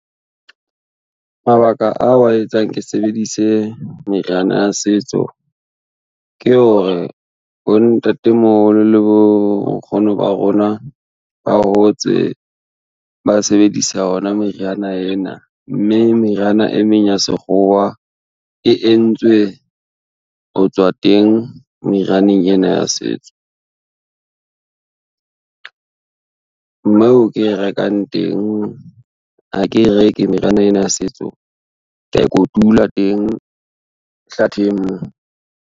Mabaka a wa etsang ke sebedise meriana ya setso, ke hore bontatemoholo le bonkgono ba rona, ba hotse ba sebedisa ona meriana ena mme meriana e meng ya sekgowa e entswe ho tswa teng merianeng ena ya setso. Moo ke e rekang teng, ha ke reke meriana ena ya setso, ke a e kotula teng hlatheng mo.